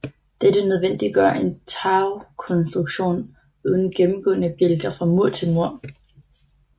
Dette nødvendiggør en tagkonstruktion uden gennemgående bjælker fra mur til mur